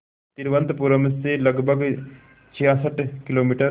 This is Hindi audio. तिरुवनंतपुरम से लगभग छियासठ किलोमीटर